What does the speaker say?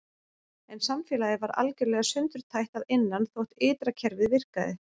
En samfélagið var algjörlega sundurtætt að innan þótt ytra kerfið virkaði.